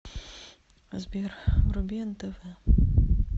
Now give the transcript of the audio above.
сбер вруби нтв